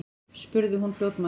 spurði hún fljótmælt.